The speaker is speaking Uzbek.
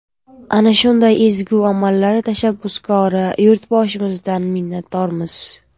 Ana shunday ezgu amallar tashabbuskori Yurtboshimizdan minnatdormiz.